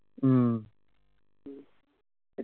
ഉം